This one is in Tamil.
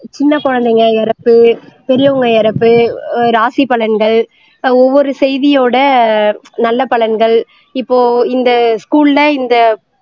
சின்ன குழந்தைங்க இறப்பு பெரியவங்க இறப்பு ஆஹ் ராசி பலன்கள் ஒவ்வொரு செய்தியோட நல்ல படங்கள் இப்போ இந்த school ல இந்த